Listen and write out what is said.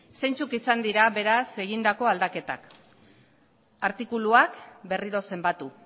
isiltasuna mesedez zeintzuk izan dira beraz egindako aldaketak artikuluak berriro zenbatu